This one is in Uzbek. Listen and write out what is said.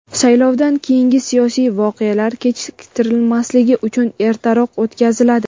saylovdan keyingi siyosiy voqealar kechiktirilmasligi uchun ertaroq o‘tkaziladi.